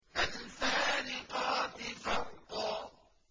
فَالْفَارِقَاتِ فَرْقًا